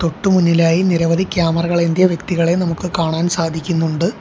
തൊട്ട് മുന്നിലായി നിരവധി ക്യാമറകൾ ഏന്തിയ വ്യക്തികളേം നമുക്ക് കാണാൻ സാധിക്കുന്നുണ്ട്.